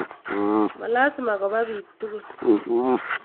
Ma lasima kopa piik tukul.